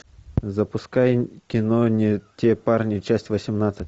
запускай кино не те парни часть восемнадцать